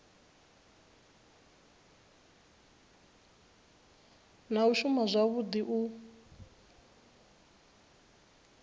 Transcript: na u shuma zwavhui u